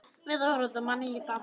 Við urðum að nýta það.